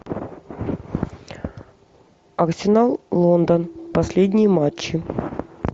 арсенал лондон последние матчи